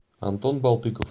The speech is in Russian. антон балтыков